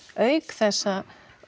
auk þess að